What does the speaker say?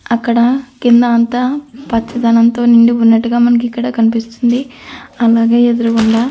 అక్కడ కింద అంత పచ్చతనంతో నిండి ఉన్నట్టుగా మనకిక్కడ కనిపిస్తుంది.అలాగే ఎదురుగుండ --